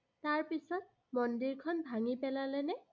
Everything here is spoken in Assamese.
তাৰ পিছত, মন্দিৰখন ভাঙি পেলালেনে?